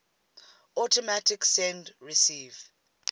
automatic send receive